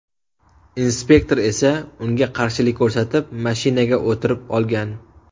Inspektor esa unga qarshilik ko‘rsatib, mashinaga o‘tirib olgan.